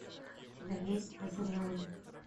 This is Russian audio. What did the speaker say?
у тебя есть незрелые